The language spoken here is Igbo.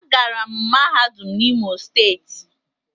Agara m mahadum na imo steeti